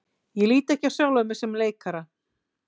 Ég lít ekki á sjálfan mig sem leikara.